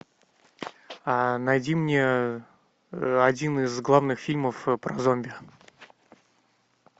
найди мне один из главных фильмов про зомби